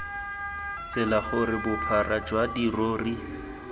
tsela gore bophara jwa dirori